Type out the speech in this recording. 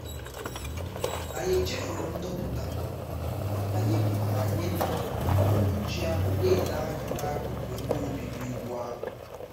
anyị chefuru ndoputa anyị mana anyị nọrọ uhuruchi ahu na-ele anya n'akụkụ ebe obibi ugwu ahụ